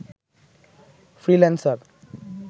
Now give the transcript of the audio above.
freelancer